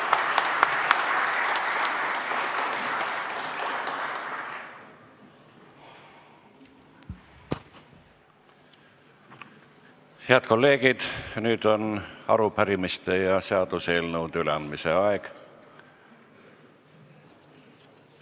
Head kolleegid, nüüd on arupärimiste ja seaduseelnõude üleandmise aeg.